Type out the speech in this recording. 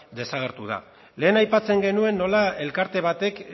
desagertu da lehen aipatzen genuen nola elkarte batek